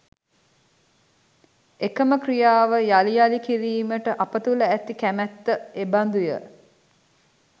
එකම ක්‍රියාව යළි යළි කිරීමට අප තුළ ඇති කැමැත්ත එබඳුය